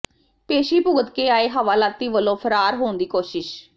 ਪੇਸ਼ੀ ਭੁਗਤ ਕੇ ਆਏ ਹਵਾਲਾਤੀ ਵੱਲੋਂ ਫ਼ਰਾਰ ਹੋਣ ਦੀ ਕੋਸ਼ਿਸ਼